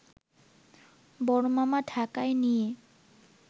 বড় মামা ঢাকায় নিয়ে